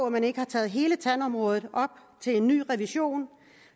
at man ikke har taget hele tandområdet op til revision